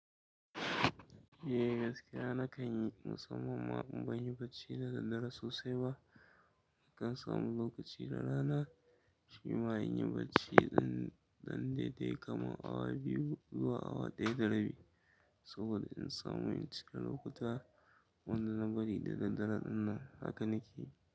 Eh gaskiya nakan yi, musamman ma in ban yi bacci da daddare sosai ba. Nakan samu lokaci da rana, shi ma in yi bacci ɗan daidai kamar awa biyu zuwa awa ɗaya da rabi, saboda in samu incika lokuta wanda na bari da daddare ɗin nan haka nake yi.